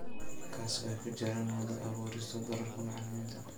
Kaas oo ay ku jiraan wada-abuurista doorarka macallimiinta.